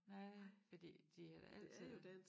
Nej fordi de har da altid været